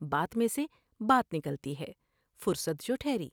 بات میں سے بات نکلتی ہے۔ فرصت جوٹھہری ۔